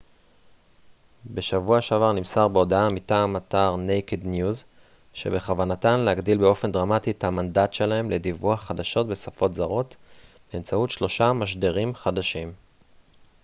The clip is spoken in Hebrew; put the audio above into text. בשבוע שעבר נמסר בהודעה מטעם אתר נייקד ניוז שבכוונתם להגדיל באופן דרמטי את המנדט שלהם לדיווח חדשות בשפות זרות באמצעות שלושה משדרים חדשים